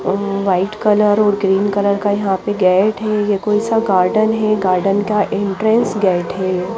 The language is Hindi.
अ वाईट कलर और ग्रीन कलर का यहाँ पे गेट है ये कोनसा गार्डन है गार्डन का इंटरेस्ट गेट है ये --